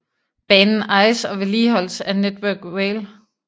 Banen ejes og vedligeholdes af Network Rail